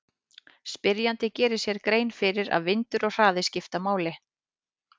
Spyrjandi gerir sér grein fyrir að vindur og hraði skipta máli.